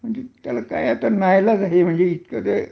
त्याला काय आता न इलाज आहे इतक